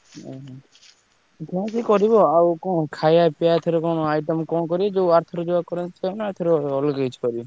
ଓହୋ ଯାହା ସିଏ କରିବ ଆଉ ଖାଇବା ପିବା ଏଥିରେ କଣ item କଣ କରିବ ଯୋଉ ଅରଥରକ ଯାହା ହେଇଥିଲା।